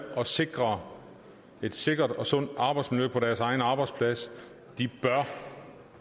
at sikre et sikkert og sundt arbejdsmiljø på deres egen arbejdsplads bør